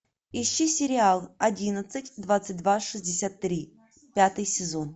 ищи сериал одиннадцать двадцать два шестьдесят три пятый сезон